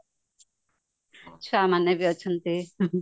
ଛୁଆ ମନେବି ଅଛନ୍ତି